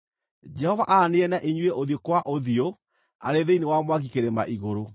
Jehova aaranĩirie na inyuĩ ũthiũ kwa ũthiũ arĩ thĩinĩ wa mwaki kĩrĩma igũrũ.